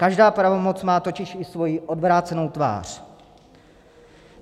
Každá pravomoc má totiž i svoji odvrácenou tvář.